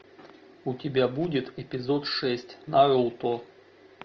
у тебя будет эпизод шесть наруто